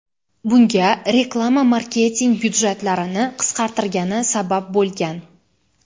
Bunga reklama marketing byudjetlarini qisqartirgani sabab bo‘lgan.